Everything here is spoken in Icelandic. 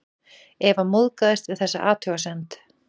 Eva móðgast við þessa athugasemd.